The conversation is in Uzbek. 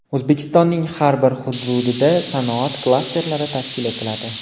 O‘zbekistonning har bir hududida sanoat klasterlari tashkil etiladi.